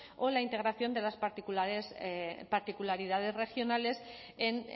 o la integración de las particularidades regionales en